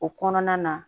O kɔnɔna na